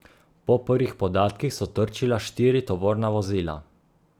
Po prvih podatkih so trčila štiri tovorna vozila.